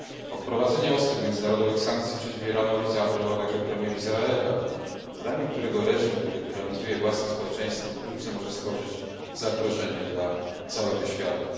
O wprowadzenie ostrych międzynarodowych sankcji przeciw Iranowi zaapelował także premier Izraela, którego zdaniem reżim, który tyranizuje własne społeczeństwo wkrótce może stworzyć zagrożenie dla całego świata.